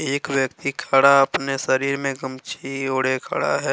एक व्यक्ति खड़ा अपने शरीर में गमछी वोडे खड़ा है।